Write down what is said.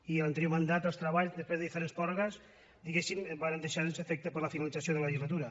i a l’anterior mandat els treballs després de diferents pròrrogues diguem ne es varen deixar sense efecte per la finalització de la legislatura